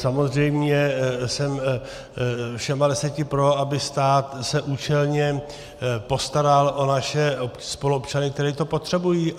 Samozřejmě jsem všemi deseti pro, aby stát se účelně postaral o naše spoluobčany, kteří to potřebují.